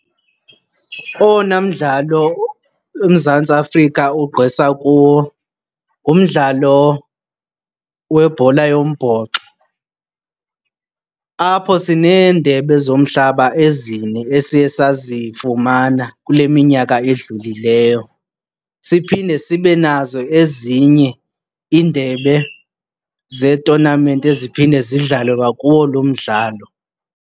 Owona mdlalo uMzantsi Afrika ugqwesa kuwo ngumdlalo webhola yombhoxo, apho sineendebe zomhlaba ezine esiye sazifumana kule minyaka edlulileyo. Siphinde sibe nazo ezinye iindebe zeetonamenti eziphinde zidlalwe kakuwo lo mdlalo.